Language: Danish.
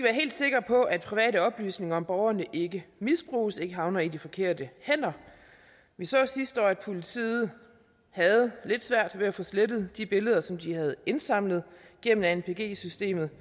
helt sikre på at private oplysninger om borgerne ikke misbruges og ikke havner i de forkerte hænder vi så sidste år at politiet havde lidt svært ved at få slettet de billeder som de havde indsamlet gennem anpg systemet